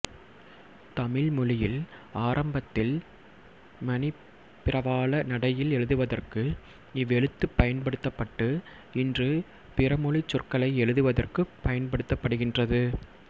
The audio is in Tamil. தமிழ் மொழியில் ஆரம்பத்தில் மணிப்பிரவாள நடையில் எழுதுவதற்கு இவ்வெழுத்துப் பயன்படுத்தப்பட்டு இன்று பிறமொழிச் சொற்களை எழுதுவதற்குப் பயன்படுத்தப்படுகின்றது